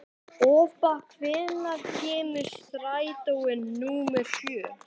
Obba, hvenær kemur strætó númer sjö?